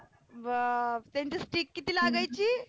बाप त्यांची stick किती लागायची